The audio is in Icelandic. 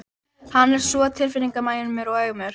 Hann er svo tilfinninganæmur og aumur.